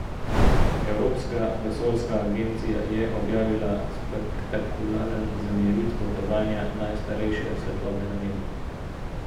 Evropska vesoljska agencija je objavila spektakularen zemljevid potovanja najstarejše svetlobe na nebu.